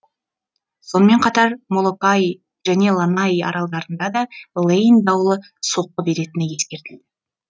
сонымен қатар молокаи және ланаи аралдарына да лейн дауылы соққы беретіні ескертілді